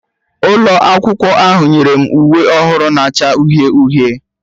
Ụlọ akwụkwọ ahụ nyere m uwe ọhụrụ na-acha uhie uhie